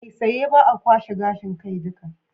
Saisaye ba a kwashe gashin kai duka.